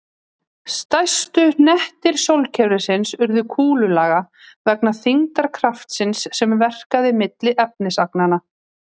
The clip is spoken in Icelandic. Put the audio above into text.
Stærstu hnettir sólkerfisins urðu kúlulaga vegna þyngdarkraftsins sem verkaði milli efnisagnanna.